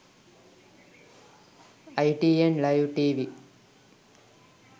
itn live tv